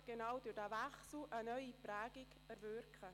allerdings wird genau dieser Wechsel eine neue Prägung bewirken.